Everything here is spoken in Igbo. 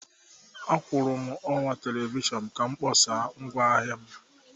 Akwụụrụ m ọwa telivishọn ka m kpọsaa ngwaahịa m.